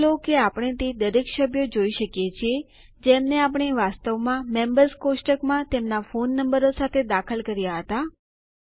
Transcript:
નોંધ લો કે આપણે તે દરેક ચાર સભ્યો જોઈ શકીએ છીએ જેમને આપણે વાસ્તવમાં મેમ્બર્સ કોષ્ટકોમાં તેમના ફોન નંબરો સાથે દાખલ કર્યા હતા